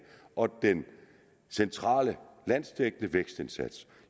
og den centrale landsdækkende vækstindsats